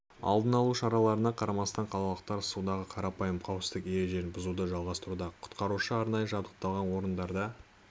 алдын алу шараларына қарамастан қалалықтар судағы қарапайым қауіпсіздік ережелерін бұзуды жалғастыруда құтқарушылар арнайы жабдықталған орындарда